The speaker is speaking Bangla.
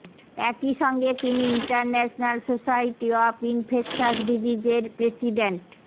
একই সঙ্গে তিনি ইন্টারন্যাশনাল সোসাইটি অব ইনফেকশাস ডিজিজেজের প্রেসিডেন্ট